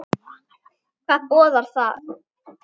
Hvað boðar það?